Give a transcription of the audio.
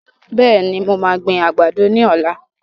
Bẹ́ẹ̀ni, mo máa gbin àgbàdo ní ọ̀la